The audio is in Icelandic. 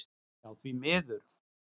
Já því miður.